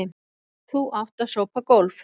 Þú átt að sópa gólf.